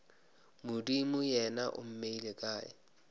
modimo yena o mmeile kae